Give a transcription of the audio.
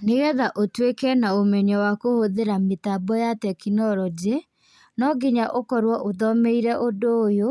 Nĩgetha ũtuĩke na ũmenyo wa kũhũthĩra mĩtambo ya tekinoronjĩ, nonginya ũkorwo ũthomeire ũndũ ũyũ,